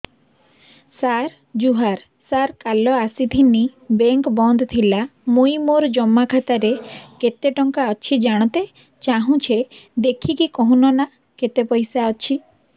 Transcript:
ସାର ଜୁହାର ସାର କାଲ ଆସିଥିନି ବେଙ୍କ ବନ୍ଦ ଥିଲା ମୁଇଁ ମୋର ଜମା ଖାତାରେ କେତେ ଟଙ୍କା ଅଛି ଜାଣତେ ଚାହୁଁଛେ ଦେଖିକି କହୁନ ନା କେତ ପଇସା ଅଛି